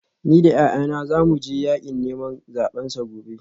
Ni da yayana za mu je yakin neman zabensa gobe